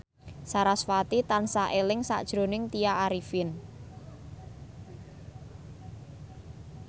sarasvati tansah eling sakjroning Tya Arifin